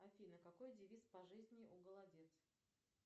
афина какой девиз по жизни у голодец